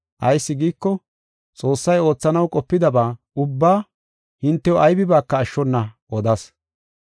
Ayis giiko, Xoossay oothanaw qopidaba ubbaa hintew aybibaaka ashshona odas.